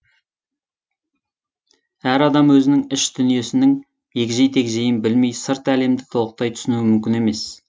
әр адам өзінің іш дүниесінің егжей тегжейін білмей сырт әлемді толықтай түсінуі мүмкін емес